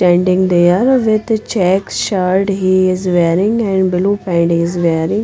Standing there with check shirt he is wearing and blue pant is wearing.